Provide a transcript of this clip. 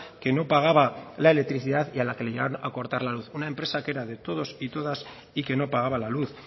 que no pagaba la electricidad y a la que le llegaron a cortar la luz una empresa que era de todos y todas y que no pagaba la luz